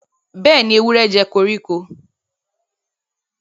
Béèni, ewúrẹ jé koríko.